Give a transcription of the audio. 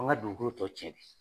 An ŋa dugukolo tɔ tiɲɛ bi